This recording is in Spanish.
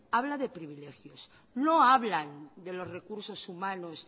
habla de privilegios no hablan de los recursos humanos